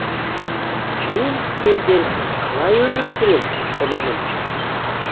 мен сендерсіз қалай өмір сүрем құлыным